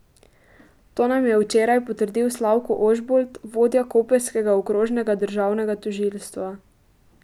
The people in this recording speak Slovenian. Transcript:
To nam je včeraj potrdil Slavko Ožbolt, vodja koprskega okrožnega državnega tožilstva.